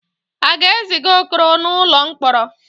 A ga-eziga Okoro n'ụlọ mkpọrọ?